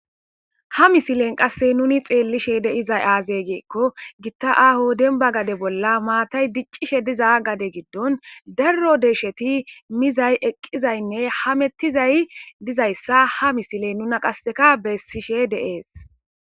ha misilen qasse nuni xeellishe deizay aazey geekko gitta aaho denba gade bolla maatay diccishe diza gade giddon darro deesheti mizay eqqizaynne hamettizay dizayssa ha misiley nuna qasseka bessishe deees